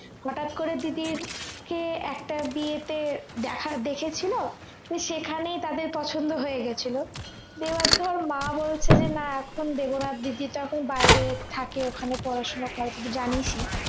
হঠাৎ করে দিদি কে একটা বিয়েতে দেখা~দেখেছিল তো সেখানেই তাদের পছন্দ হয়ে গেছিল তো এবার ধর মা বলছিল যে না এখন দেবো না দিদি তখন বাহিরে থাকে ওখানে পড়াশুনা করে তুই তো জানিই